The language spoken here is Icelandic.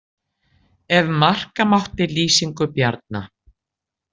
Ef marka mátti lýsingu Bjarna.